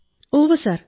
ഉവ്വ് സർ